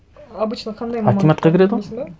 обычно қандай мамандыққа білмейсің бе